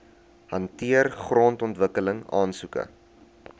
hanteer grondontwikkeling aansoeke